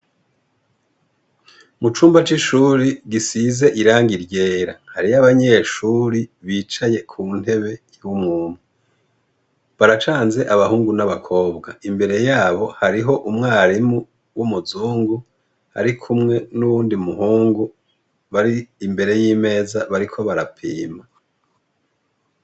Mucumba c' ishuri gisize irangi ryera hariyo abanyeshuri bicaye ku ntebe baracanze abahungu n' abakobwa imbere yabo hariho umwarimu w' umuzungu arikumwe n' uwundi muhungu bari imbere y' imeza bariko barapima.